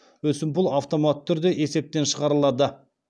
өсімпұл автоматты түрде есептен шығарылады